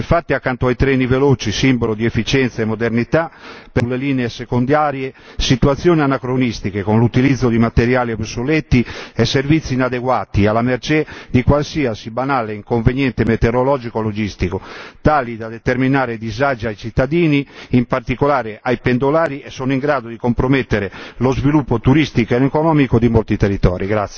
Infatti, accanto ai treni veloci, simbolo di efficienza e modernità, sulle linee secondarie permangono situazioni anacronistiche, con l'utilizzo di materiali obsoleti e servizi inadeguati, alla mercé di qualsiasi banale inconveniente metereologico o logistico, tali da determinare disagi ai cittadini, in particolare ai pendolari, e in grado di compromettere lo sviluppo turistico ed economico di molti territori.